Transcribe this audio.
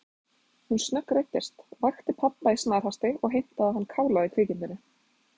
Hún snöggreiddist, vakti pabba í snarhasti og heimtaði að hann kálaði kvikindinu.